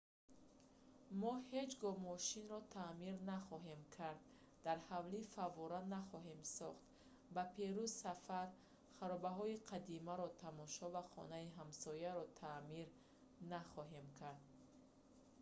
мо ҳеҷ гоҳ мошинро таъмир нахоҳем кард дар ҳавлӣ фаввора нахоҳем сохт ба перу сафар харобаҳои қадимаро тамошо ва хонаи ҳамсояро таъмир наҳем кард